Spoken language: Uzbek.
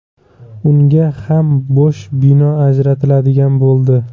Unga ham bo‘sh bino ajratiladigan bo‘ldi.